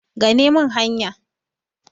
gane min hanya!